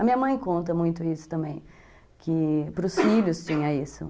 A minha mãe conta muito isso também, que para os filhos tinha isso.